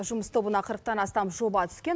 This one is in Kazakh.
жұмыс тобына қырықтан астам жоба түскен